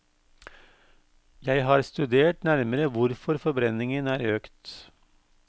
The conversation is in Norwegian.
Jeg har studert nærmere hvorfor forbrenningen er økt.